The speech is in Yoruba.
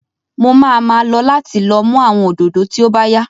Mo máa ma lọ láti lọ mú àwọn òdòdó tí ó bá yá